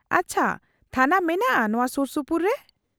-ᱟᱪᱪᱷᱟ, ᱛᱷᱟᱱᱟ ᱢᱮᱱᱟᱜᱼᱟ ᱱᱚᱶᱟ ᱥᱩᱨᱥᱩᱯᱩᱨ ᱨᱮ ?